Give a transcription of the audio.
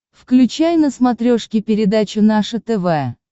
включай на смотрешке передачу наше тв